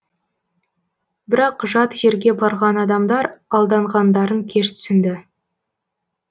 бірақ жат жерге барған адамдар алданғандарын кеш түсінді